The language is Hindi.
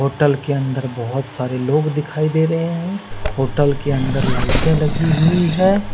होटल के अन्दर बहुत सारे लोग दिखाई दे रहे है होटल के अन्दर लाइटे लगी हुई है।